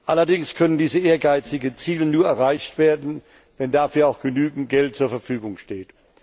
Allerdings können diese ehrgeizigen Ziele nur erreicht werden, wenn dafür auch genügend Geld zur Verfügung steht.